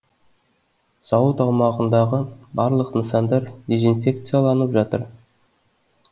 зауыт аумағындағы барлық нысандар дезинфекцияланып жатыр